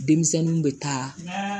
Denmisɛnninw bɛ taa